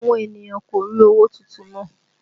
Àwọn ènìyàn kò rí owó tuntun ná